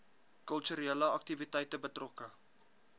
kulturele aktiwiteite betrokke